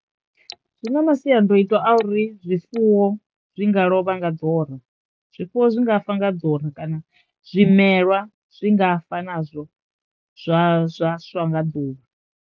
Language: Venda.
Zwi na masiandoitwa a uri zwifuwo zwi nga lovha nga ḓora, zwifuwo zwi nga fa nga kana zwimelwa zwi nga fa nazwo zwa zwa swa nga ḓuvha.